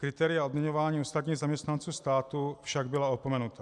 Kritéria odměňování ostatních zaměstnanců státu však byla opomenuta.